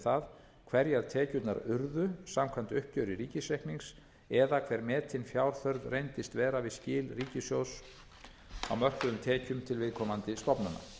það hverjar tekjurnar urðu samkvæmt uppgjöri ríkisreiknings eða hver metin fjárþörf reyndist vera við skil ríkissjóðs á mörkuðum tekjum til viðkomandi stofnana